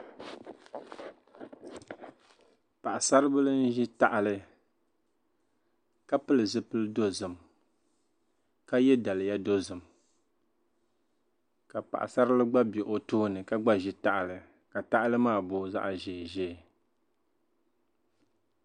Paɣisaribila n-ʒi tahili ka pili zupil’ dozim ka ye daliya dozim ka paɣisarili gba be o tooni ka gba ʒi tahili ka tahili maa booi zaɣ’ ʒeeʒee